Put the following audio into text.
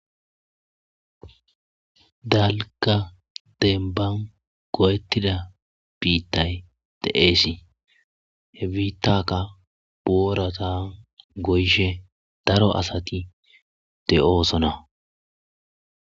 Dalka denban go'ettida biittay de'eesi he biittakka boorata goyshe daro asati de'oosona.